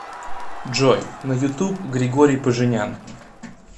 джой на ютуб григорий поженян